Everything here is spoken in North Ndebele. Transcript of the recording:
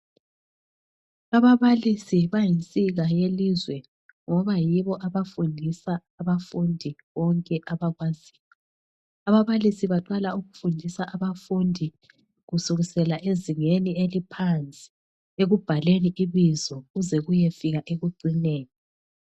Ababalisi bayinsika yelizwe ngoba yibo abafundisa abafundi bonke abakwaziyo. Ababalisi baqala ukufundisa abafundi kusukisela ezingeni eliphansi ekubhaleni ibizo kuze kuyefika ekucineni.